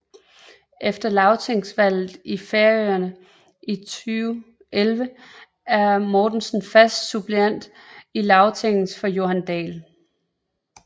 Efter lagtingsvalget i Færøerne 2011 er Mortensen fast suppleant i Lagtinget for Johan Dahl